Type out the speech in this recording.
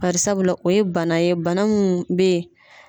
Barisabula o ye bana ye bana mun be ye